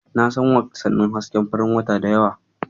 Na san wasannin hasken farin wata da yawa.